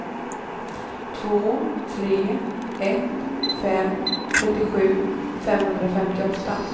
två tre ett fem trettiosju femhundrafemtioåtta